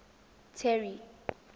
terry